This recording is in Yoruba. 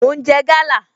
Mo ń jẹ gala